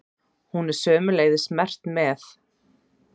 Hún er sömuleiðis merkt með?